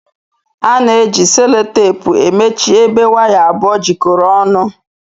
Ana eji sellotepu emechi ebe waya abụọ jikọrọ ọnụ.